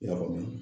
Yɔrɔ min